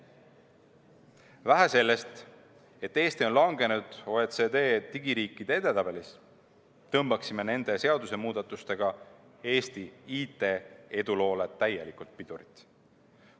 Vähe sellest, et Eesti on langenud OECD digiriikide edetabelis, me tõmbaksime nende seadusemuudatustega Eesti IT‑eduloole täielikult pidurit.